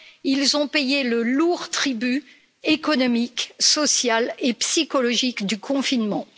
Ils ont payé le lourd tribut économique, social et psychologique du confinement.